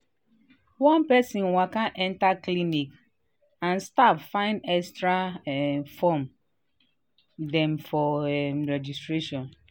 one person waka enter um clinic and staff find extra um form dem for um registration.”